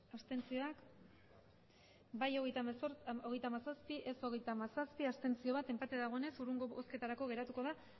abstenzioak emandako botoak hirurogeita hamabost bai hogeita hamazazpi ez hogeita hamazazpi abstentzioak bat enpate dagoenez hurrengo bozketarako geratuko da